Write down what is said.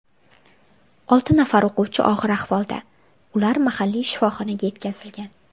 Olti nafar o‘quvchi og‘ir ahvolda, ular mahalliy shifoxonaga yetkazilgan.